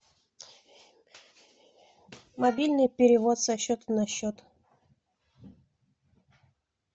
мобильный перевод со счета на счет